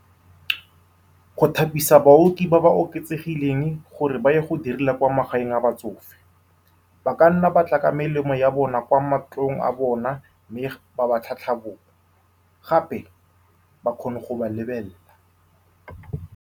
Go thapisa baoki ba ba oketsegileng gore ba ye go direla kwa magaeng a batsofe, ba ka nna ba tla ka melemo ya bona kwa mantlong a bona, mme ba ba tlhatlhobong, gape ba kgone go ba lebelela.